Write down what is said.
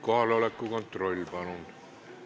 Kohaloleku kontroll, palun!